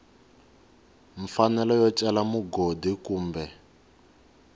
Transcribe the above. mfanelo yo cela mugodi kumbe